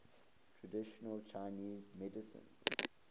traditional chinese medicine